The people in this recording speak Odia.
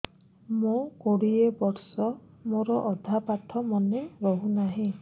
ମୋ କୋଡ଼ିଏ ବର୍ଷ ମୋର ଅଧା ପାଠ ମନେ ରହୁନାହିଁ